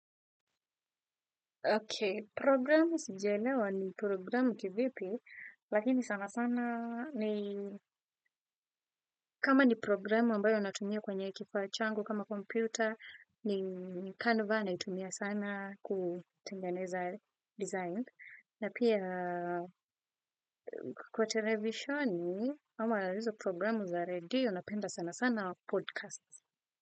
Ok, programu sijaelewa ni programu kivipi, lakini sana sana ni kama ni programu ambayo natumia kwenye kifaa changu kama kompyuta ni Canva naitumia sana kutengeneza design. Na pia kwa televisioni, hawa ata hizo programu za ready, napenda sana sana podcast.